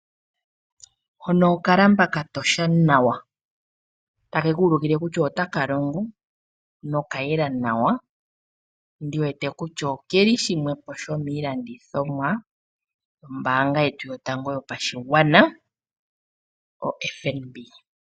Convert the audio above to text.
Hono okalamba katosha nawa takekuulukile kusha otaka longo nokayela nawa ndiwete kutya okeli shimwe shomiilandothomwa yetu yopambanga yotango yoFNB.